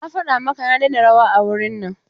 Na faɗa maka ka daina rawa a wurin nan!